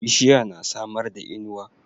Bishiya na samarda inuwa